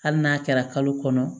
Hali n'a kɛra kalo kɔnɔ